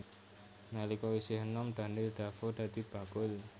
Nalika isih enom Daniel Defoe dadi bakul